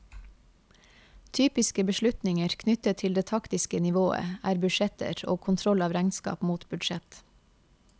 Typiske beslutninger knyttet til det taktiske nivået er budsjetter og kontroll av regnskap mot budsjett.